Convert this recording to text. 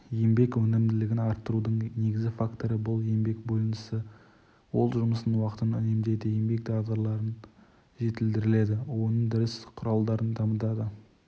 еңбек өнімділігін арттырудың негізгі факторы бұл еңбек бөлінісі ол жұмыс уақытын үнемдейді еңбек дағдыларын жетілдіреді өндіріс құралдарын дамытады